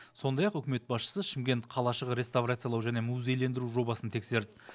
сондай ақ үкімет басшысы шымкент қалашығы реставрациялау және музейлендіру жобасын тексерді